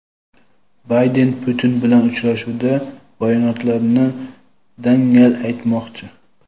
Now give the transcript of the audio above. Bayden Putin bilan uchrashuvda bayonotlarini dangal aytmoqchi.